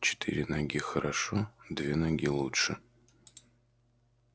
четыре ноги хорошо две ноги лучше